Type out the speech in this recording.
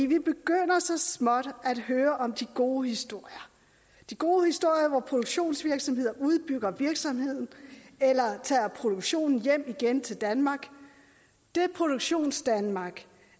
vi begynder så småt at høre om de gode historier de gode historier hvor produktionsvirksomheder udbygger virksomheden eller tager produktionen hjem igen til danmark det produktionsdanmark